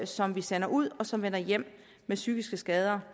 som vi sender ud og som vender hjem med psykiske skader